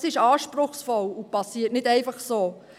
Das ist anspruchsvoll und geschieht nicht von selbst.